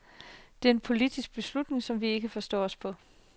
Det er en politisk beslutning, som vi ikke forstår os på.